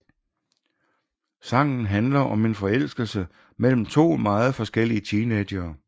Sangen handler om en forelskelse mellem to meget forskellige teenagere